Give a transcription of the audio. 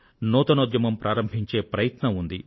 నూతన ఉద్యమం ప్రారంభించే ప్రయత్నం ఉంది